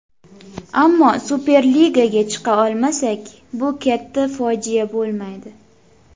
Ammo Superligaga chiqa olmasak, bu katta fojia bo‘lmaydi.